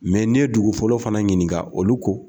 ni ye dugu fɔlɔ fana ɲininka olu ko.